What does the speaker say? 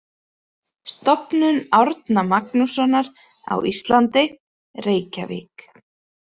Stofnun Árna Magnússonar á Íslandi, Reykjavík.